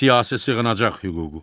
Siyasi sığınacaq hüququ.